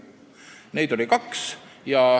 Neid oli kaks.